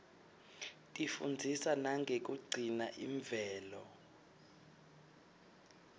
tifundzisa nangekugcina imvelo